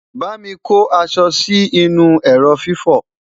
bámi kò aṣọ Si inú ẹrọ fifo